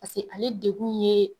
Paseke ale degun ye